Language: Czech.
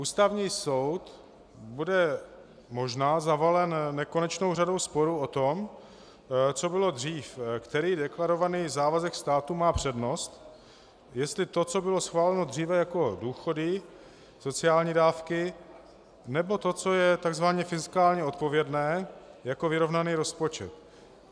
Ústavní soud bude možná zavalen nekonečnou řadou sporů o to, co bylo dřív, který deklarovaný závazek státu má přednost - jestli to, co bylo schváleno dříve jako důchody, sociální dávky, nebo to, co je tzv. fiskálně odpovědné jako vyrovnaný rozpočet.